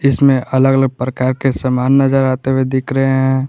इसमें अलग अलग प्रकार के समान नजर आते हुए दिख रहे हैं।